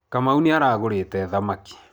Kamau nĩ arugĩte thamaki.